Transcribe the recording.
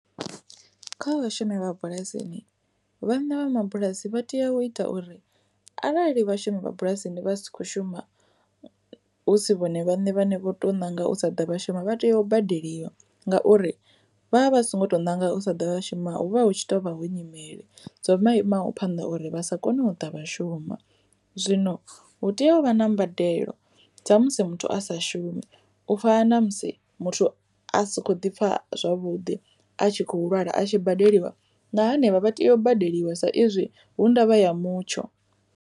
Kha vha shumi vha mabulasini vhane vha mabulasi vha tea u ita uri arali vhashumi vha bulasini vha si kho shuma husi vhone vhaṋe vhane vho to nanga u sa ḓa vha shuma vha tea u badeliwa ngauri vha vha songo to nanga u sa shuma hu vha hu tshi tovha hu nyimele dzo imaho phanḓa uri vha sa koni u ṱavha shuma. Zwino hu tea u vha na mbadelo dza musi muthu a sa vhashumi u fana na musi muthu a si kho ḓi pfha zwavhuḓi a tshi khou lwala a tshi badeliwa na henevha vha tea u badeliwa sa izwi hu ndavha ya mutsho.